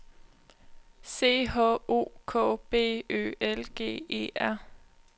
C H O K B Ø L G E R